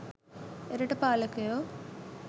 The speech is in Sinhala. එරට පාලකයෝ